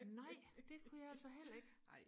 nej det kunne jeg altså heller ikke